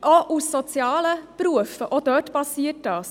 Auch in sozialen Berufen geschieht dies.